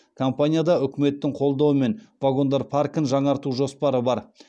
компанияда үкіметтің қолдауымен вагондар паркін жаңарту жоспары бар